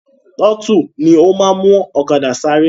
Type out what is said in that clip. Tọ́tù ni ó máa n mú ọ̀kadà sáré